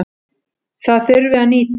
Það þurfi að nýta.